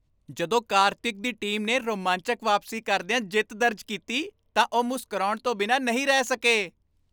ਜਦੋਂ ਕਾਰਤਿਕ ਦੀ ਟੀਮ ਨੇ ਰੋਮਾਂਚਕ ਵਾਪਸੀ ਕਰਦਿਆਂ ਜਿੱਤ ਦਰਜ ਕੀਤੀ ਤਾਂ ਉਹ ਮੁਸਕਰਾਉਣ ਤੋਂ ਬਿਨਾਂ ਨਹੀਂ ਰਹਿ ਸਕੇ।